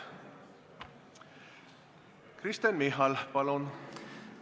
Kristen Michal, palun!